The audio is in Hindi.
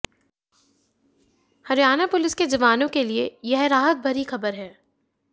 हरियाणा पुलिस के जवानों के लिए यह राहत भरी खबर है